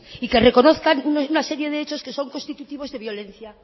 y que reconozcan una serie de hechos que son constitutivos de violencia